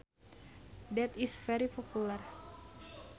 that is very popular